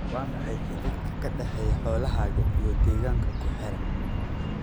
Waa maxay xidhiidhka ka dhexeeya xoolahaaga iyo deegaanka ku xeeran?